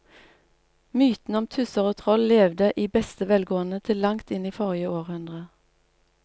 Mytene om tusser og troll levde i beste velgående til langt inn i forrige århundre.